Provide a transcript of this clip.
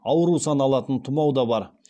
ауру саналатын тұмау да бар